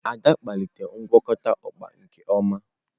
Ada kpalitere ngwakọta okpa nke ọma.